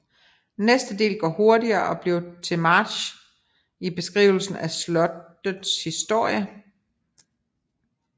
Næste del går hurtigere og bliver til march i beskrivelsen af slottets historie